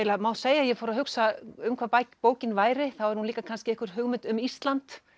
það má segja að ég fór að hugsa um hvað bókin væri þá er hún líka kannski einhver hugmynd um Ísland